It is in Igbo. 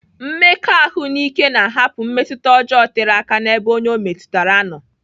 Mmekọahụ n'ike na-ahapụ mmetụta ọjọọ tere aka n'ebe onye ọ metụtara nọ.